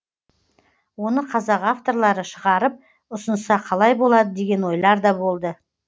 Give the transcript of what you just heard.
оны қазақ авторлары шығарып ұсынса қалай болады деген ойлар да болды